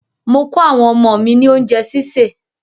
Mò kọ àwọn ọmọ mí ní oúnjẹ́ sísè.